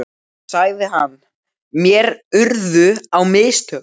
sagði hann, mér urðu á mistök.